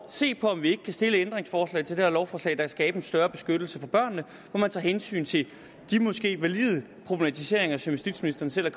se på om vi ikke kan stille et ændringsforslag til det her lovforslag der kan skabe en større beskyttelse for børnene hvor man tager hensyn til de måske valide problemstillinger som justitsministeren selv har